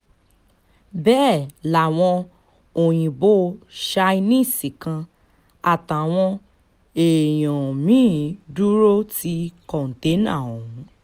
bẹ́ẹ̀ làwọn òyìnbó chinese kan àtàwọn èèyàn mí-ín dúró ti kọ́tẹ́ná ọ̀hún